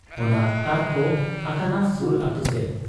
ᱚᱱᱟ ᱛᱟᱨᱠᱚ ᱟᱠᱟᱱᱟ ᱥᱩᱨ ᱟᱹᱛᱩᱥᱮᱫ ᱾